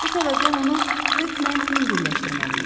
Bu səbəbdən onu hökmən yüngülləşdirməliyik.